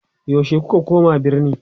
yaushe kuka koma birni?